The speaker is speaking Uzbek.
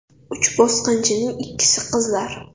Uch bosqinchining ikkisi qizlar.